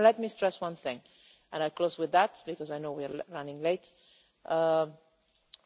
Let me stress one thing and I will close with this because I know we are running late